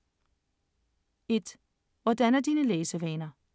1) Hvordan er dine læsevaner?